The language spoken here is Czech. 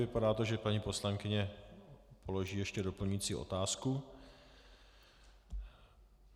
Vypadá to, že paní poslankyně položí ještě doplňující otázku.